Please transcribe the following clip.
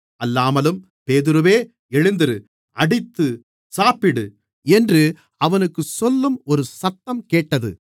அல்லாமலும் பேதுருவே எழுந்திரு அடித்து சாப்பிடு என்று அவனுக்குச் சொல்லும் ஒரு சத்தம் கேட்டது